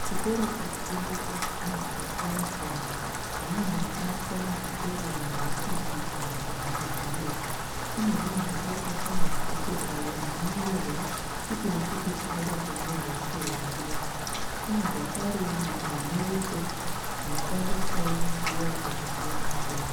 Chitoro chiri kutengeswa zvinhu zvakasiyana siyana zvinonyanya kushandiswa muzvikoro mahofisi kana dzimwewo nzvimbo mune zvinhu zvakaita samabhuku ayo anonyorerwa chipi nechipi chingada kunyorwa chero nguva mune zvakare zvinyoreso zvinoshandiswawo nguva dzakasiyana siyana.